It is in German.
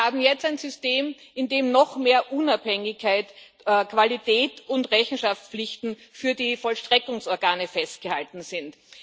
Wir haben jetzt ein System, in dem noch mehr Unabhängigkeit, Qualität und Rechenschaftspflichten für die Vollstreckungsorgane festgehalten sind.